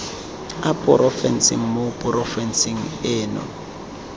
a porofense mo porofenseng eno